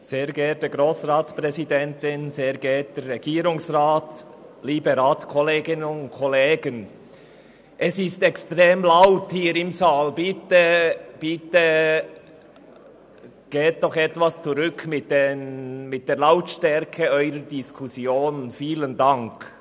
Es ist extrem laut hier im Saal, bitte gehen Sie noch etwas mit der Lautstärke Ihrer Diskussionen zurück, vielen Dank.